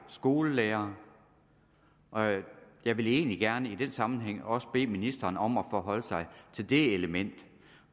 skolelærere og jeg vil egentlig gerne i den sammenhæng også bede ministeren om at forholde sig til det element